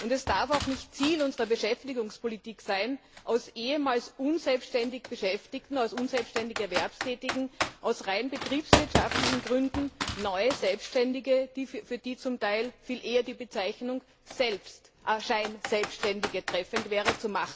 Es darf auch nicht Ziel unserer Beschäftigungspolitik sein, aus ehemals unselbständig Beschäftigten, aus unselbständig Erwerbstätigen aus rein betriebswirtschaftlichen Gründen neue Selbständige zu machen, für die zum Teil viel eher die Bezeichnung Scheinselbständige treffend wäre.